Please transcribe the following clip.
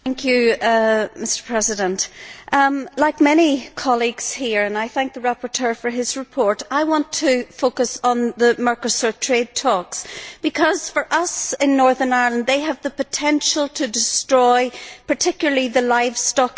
Mr President, like many colleagues here and I thank the rapporteur for his report I want to focus on the Mercosur trade talks, because for us in Northern Ireland, they have the potential to destroy, and particularly the livestock industry.